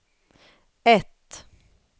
ett